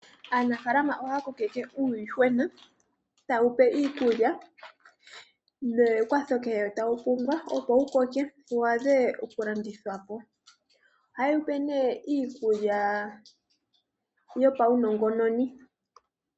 Aanafalama ohaya kokeke uuyuhwena, taye wupe iikulya nekwatho kehe tawu pumbwa, opo wukoke wu adhe okulandithwa po. Ohaye wupe nee iikulya yopaunongononi.